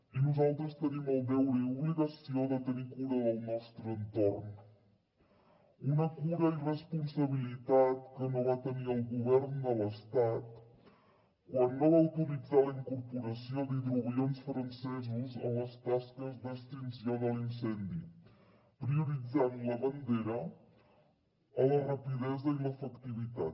i nosaltres tenim el deure i obligació de tenir cura del nostre entorn una cura i responsabilitat que no va tenir el govern de l’estat quan no va autoritzar la incorporació d’hidroavions francesos en les tasques d’extinció de l’incendi prioritzant la bandera a la rapidesa i l’efectivitat